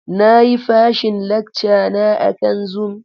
Na yi fashin lacka na akan Zoom.